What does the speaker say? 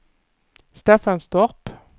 Staffanstorp